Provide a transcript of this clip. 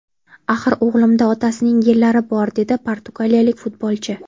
Axir o‘g‘limda otasining genlari bor”, – dedi portugaliyalik futbolchi.